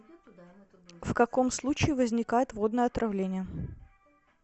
в каком случае возникает водное отравление